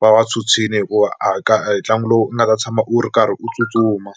va va tshwutshwile hikuva a ka a hi ntlangu lowu nga ta tshama u ri karhi u tsutsuma.